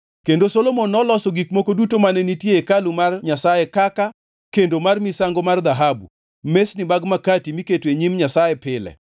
Kendo Solomon noloso gik moko duto mane nitie e hekalu mar Nyasaye kaka: kendo mar misango mar dhahabu, mesni mag makati miketo e Nyim Nyasaye pile,